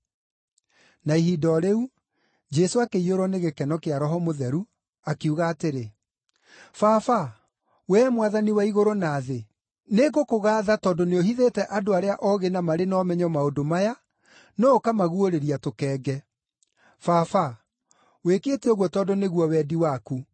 Na ihinda o rĩu, Jesũ akĩiyũrwo nĩ gĩkeno kĩa Roho Mũtheru, akiuga atĩrĩ, “Baba, wee Mwathani wa igũrũ na thĩ, nĩngũkũgaatha tondũ nĩũhithĩte andũ arĩa oogĩ na marĩ na ũmenyo maũndũ maya, no ũkamaguũrĩria tũkenge. Baba, wĩkĩte ũguo tondũ nĩguo wendi waku.